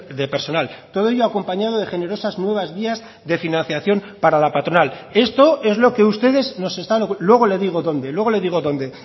de personal todo ello acompañado de generosas nuevas vías de financiación para la patronal esto es lo que ustedes nos están luego le digo donde luego le digo donde